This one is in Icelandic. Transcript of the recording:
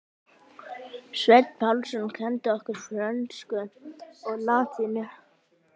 Sveinn Pálsson kenndi okkur frönsku og latínu.